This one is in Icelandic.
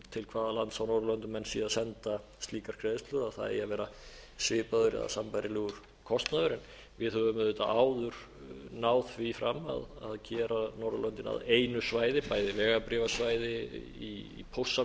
til hvaða lands á norðurlöndum menn séu að senda slíkar greiðslur að það eigi að vera svipaður eða sambærilegur kostnaður við höfum auðvitað áður náð því fram að gera norðurlöndin að einu svæði bæði vegabréfasvæði í póstsamgöngum og ýmsu